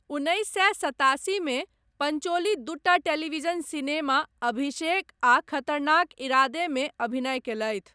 उन्नैस सए सतासी मे पंचोली दूटा टेलीविजन सिनेमा अभिषेक आ खतरनाक इरादे मे अभिनय कयलथि।